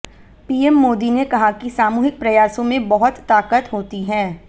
PM Modi ने कहा कि सामूहिक प्रयासों में बहुत ताकत होती है